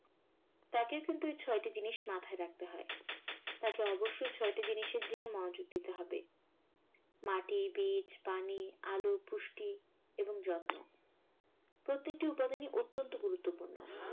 তাকেও কিন্তু এই ছয়টা জিনিস মাথায় রাখতে হয়। তাকে অবশ্যই ছয়টা জিনিসের দিকে মনোযোগ দিতে হবে। মাটি, বীজ, পানি, আলো, পুষ্টি এবং যত্ন। প্রত্যেকটা উপাদান ই অত্যন্ত গুরুত্বপূর্ণ।